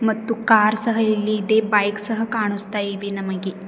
ಮತ್ತು ಕಾರ್ ಸಹ ಇಲ್ಲಿ ಇದೆ ಬೈಕ್ ಸಹ ಕಾಣುಸ್ತಾ ಇವೆ ನಮಗೆ.